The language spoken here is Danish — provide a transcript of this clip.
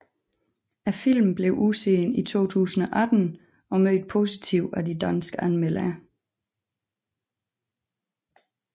Filmen blev udsendt i 2018 og mødt positivt af de danske anmeldere